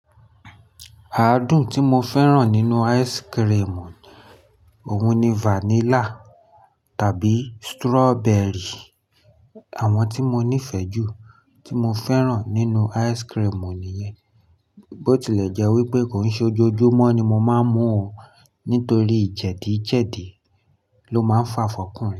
Àádùn tí mo fẹ́ràn nínú ice cream, òun ni vanilla tàbí strawberry. Àwọn tí mo nífẹ̀ẹ́ jù tí mo fẹ́ràn nínú ice cream nìyẹn. Bó tilẹ̀ jẹ́ wípé kò n ṣe ojoojúmọ́ ni mo máa ń mu o nítorí jẹ̀díjẹ̀dí ló máa ń fà fun okúnrin.